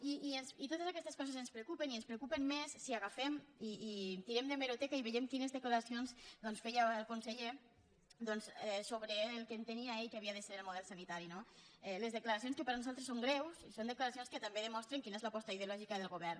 i totes aquestes coses ens preocupen i ens preocupen més si agafem i tirem d’hemeroteca i veiem quines declaracions feia el conseller sobre el que entenia ell que havia de ser el model sanitari no les declaracions que per nosaltres són greus són declaracions que també demostren quina és l’aposta ideològica del govern